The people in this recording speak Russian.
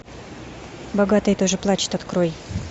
богатые тоже плачут открой